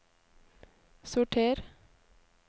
sorter